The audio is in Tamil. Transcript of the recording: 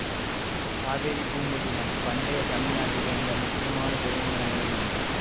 காவிரிப்பூம்பட்டினம் பண்டைய தமிழ் நாட்டிலிருந்த முக்கியமான துறைமுக நகரங்களில் ஒன்று